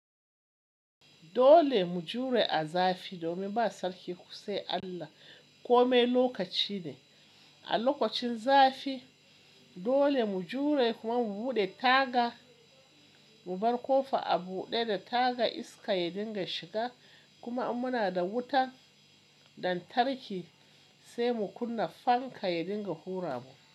Dole mu jure a zafi domin ba sarki sai Allah. Kome lokaci ne a lokacin zafi dole mu jure kuma mu buɗe taga, mu bar ƙofa a buɗe da taga iska ya dinga shiga kuma in muna da wuta lantarki sai mu kunna fanka ya dinga hura mu.